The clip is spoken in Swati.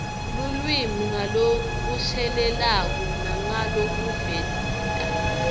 lulwimi ngalokushelelako nangalokuveta